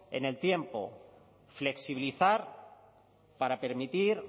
en el tiempo flexibilizar para permitir